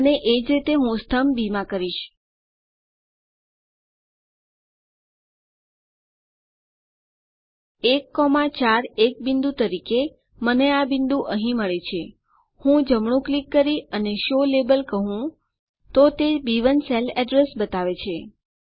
અને એ જ રીતે હું સ્તંભ બી માં કરીશ 1 4 એક બિંદુ તરીકે મને આ બિંદુ અહીં મળે છે હું જમણું ક્લિક કરી અને શો લાબેલ કહું તો તે બી1 સેલ અડ્રેસ બતાવે છે